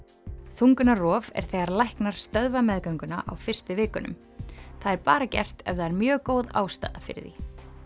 þungunarrof er þegar læknar stöðva meðgönguna á fyrstu vikunum það er bara gert ef það er mjög góð ástæða fyrir því